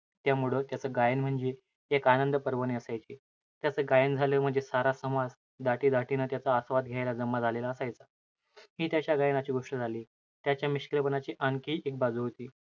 त्यामुळं, त्याचं गायन म्हणजे, एक आनंदपर्वणी असायची. त्याचं गायन झालं म्हणजे, सारा समाज दाटीदाटीनं त्याचा आस्वाद घ्यायला जमा झालेला असायचा. हि त्याच्या गायनाची गोष्ट झाली. त्याच्या मिश्किलपणाची आणखी एक बाजू होती.